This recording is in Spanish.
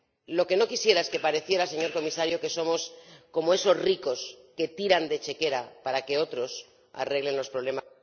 Lo que no quisiera es que pareciera, señor Comisario, que somos como esos ricos que tiran de chequera para que otros arreglen los problemas.